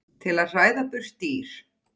til að hræða burt dýr.